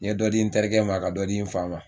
N ye dɔ di n terikɛ ma, ka dɔ di n fa ma.